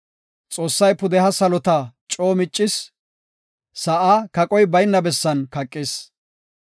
Xoossay pudeha salota coo miccis; sa7aa kaqoy bayna bessan kaqis.